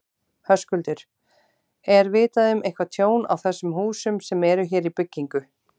Höskuldur: Er vitað um eitthvað tjón á þessum húsum sem eru hér í byggingu?